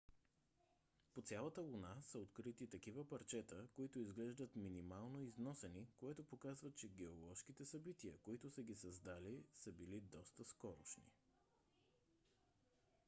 по цялата луна са открити такива парчета които изглеждат минимално износени което показва че геоложките събития които са ги създали са били доста скорошни